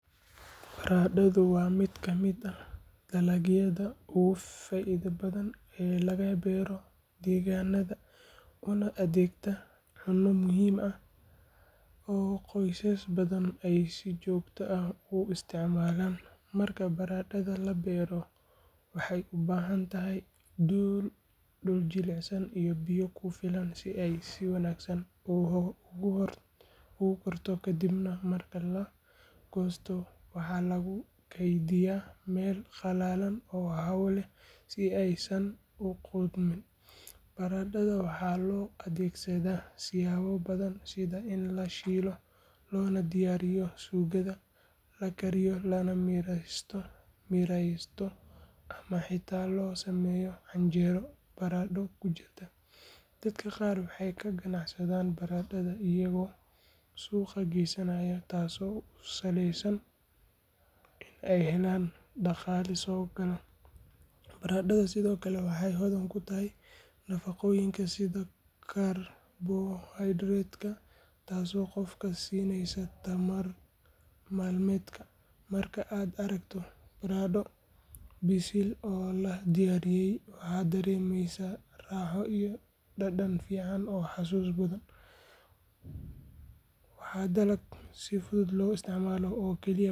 Baradhadu waa mid ka mid ah dalagyada ugu faa’iidada badan ee laga beero deegaannada una adeegta cunno muhiim ah oo qoysas badan ay si joogto ah u isticmaalaan. Marka baradhada la beero waxay u baahan tahay dhul jilicsan iyo biyo ku filan si ay si wanaagsan u korto kadibna marka la goosto waxaa lagu kaydiyaa meel qalalan oo hawo leh si aysan u qudhmin. Baradhada waxaa loo adeegsadaa siyaabo badan sida in la shiilo loona diyaariyo suugada, la kariyo lana miiraysto ama xitaa loo sameeyo canjeero baradho ku jirto. Dadka qaar waxay ka ganacsadaan baradhada iyagoo suuqa geysanaya taasoo u sahleysa in ay helaan dhaqaale soo gala. Baradhadu sidoo kale waxay hodan ku tahay nafaqooyinka sida karbohaydraytka taasoo qofka siinaysa tamar maalmeedka. Marka aad aragto baradho bisil oo la diyaariyey waxaa dareemeysaa raaxo iyo dhadhan fiican oo xasuus mudan. Waa dalag si fudud loo isticmaalo.